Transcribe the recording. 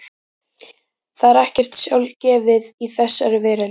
Það er ekkert sjálfgefið í þessari veröld.